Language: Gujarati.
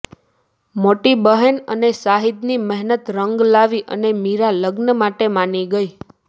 મોટી બહેન અને શાહિદ ની મહેનત રંગ લાવી અને મીરા લગ્ન માટે માની ગઈ